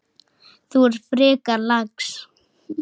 Þú ert frekar lax.